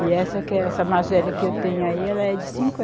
E essa que é essa mais velha que eu tenho aí, ela é de